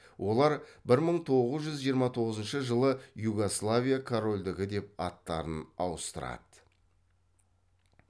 олар бір мың тоғыз жүз жиырма тоғызыншы жылы югославия королдігі деп аттарын ауыстырады